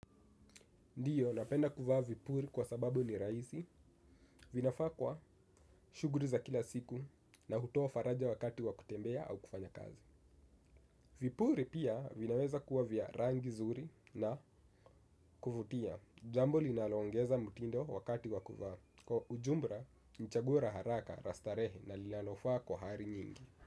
Ndio napenda kuvaa vipuli kwa sababu ni rahisi. Vinafaa kwa shughuli za kila siku na hutoa faraja wakati wa kutembea au kufanya kazi. Vipuli pia vinaweza kuwa vya rangi nzuri na kuvutia. Jambo linaloongeza mtindo wakati wakuvaa. Kwa ujumla ni chaguo la haraka, la starehe na linalofaa kwa hali nyingi.